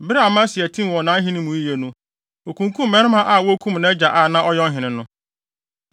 Bere a Amasia tim wɔ nʼahenni mu yiye no, okunkum mmarima a wokum nʼagya a na ɔyɛ ɔhene no.